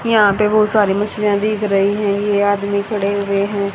यहां पे बहोत सारी मछलियां दिख रही हैं ये आदमी खड़े हुए हैं।